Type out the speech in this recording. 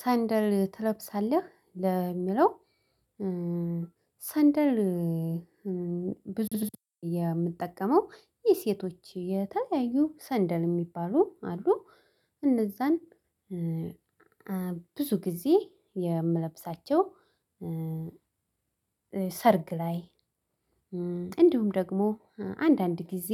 ሰንደል ትለብሳለህ ለሚለው? ሰንደል ብዙ የምጠቀመው የሴቶች የተለያዩ ሰንደል የሚባሉ አሉ። እነዛን ብዙ ጊዜ የምለብሳቸው። ሰርግ ላይ እንዲሁም ደግሞ አንዳንድ ጊዜ